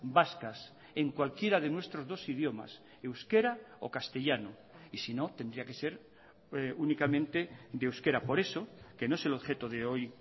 vascas en cualquiera de nuestros dos idiomas euskera o castellano y si no tendría que ser únicamente de euskera por eso que no es el objeto de hoy